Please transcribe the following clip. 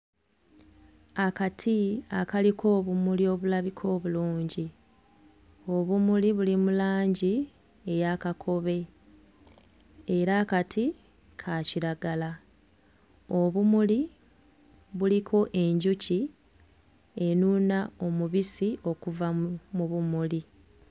Akati akaliko obumuli obulabika obulungi, obumuli buli mu langi eyakakobe era akati ka kiragala. Obumuli buliko enjuki enuuna omubissi okuva mu bumuli.